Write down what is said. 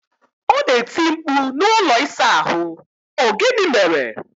Ona eti mkpu na ụlọ ịsa ahu, O gini mere ya?